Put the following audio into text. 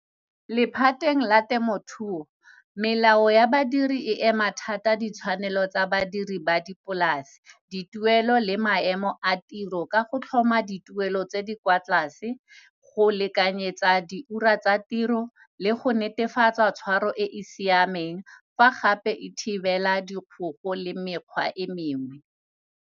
Lephateng la temothuo, melao ya badiri e ema thata ditshwanelo tsa badiri ba dipolase, dituelo le maemo a tiro ka go tlhoma dituelo tse di kwa tlase, go lekanyetsa di ura tsa tiro le go netefatsa tshwaro e e siameng fa gape e thibela dikgoko le mekgwa e mengwe.